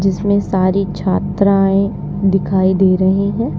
इसमें सारी छात्राएं दिखाई दे रहे हैं।